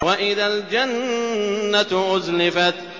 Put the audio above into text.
وَإِذَا الْجَنَّةُ أُزْلِفَتْ